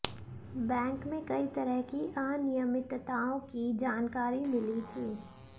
bank में कई तरह की अनियमितताओं की जानकारी मिली थी